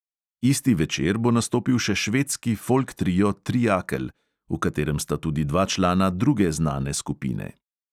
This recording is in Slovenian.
Isti večer bo nastopil še švedski folk trio triakel, v katerem sta tudi dva člana druge znane skupine.